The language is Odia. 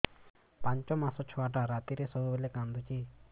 ପାଞ୍ଚ ମାସ ଛୁଆଟା ରାତିରେ ସବୁବେଳେ କାନ୍ଦୁଚି